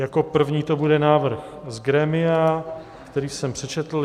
Jako první to bude návrh z grémia, který jsem přečetl.